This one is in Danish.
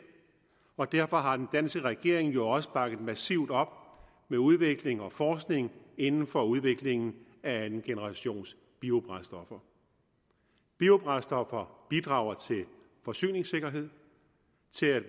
og derfor har den danske regering jo også bakket massivt op med udvikling og forskning inden for udviklingen af andengenerationsbiobrændstoffer biobrændstoffer bidrager til forsyningssikkerhed